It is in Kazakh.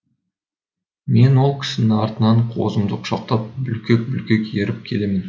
мен ол кісінің артынан қозымды құшақтап бүлкек бүлкек еріп келемін